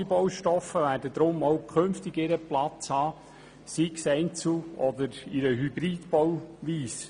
Alle Baustoffe werden deshalb auch künftig ihren Platz haben, sei es einzeln oder in einer Hybridbauweise.